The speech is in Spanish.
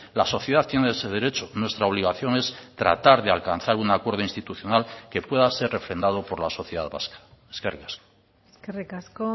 la sociedad tiene ese derecho nuestra obligación es tratar de alcanzar un acuerdo institucional que pueda ser refrendado por la sociedad vasca eskerrik asko eskerrik asko